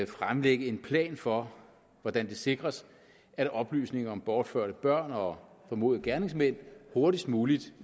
fremlægge en plan for hvordan det sikres at oplysninger om bortførte børn og formodede gerningsmænd hurtigst muligt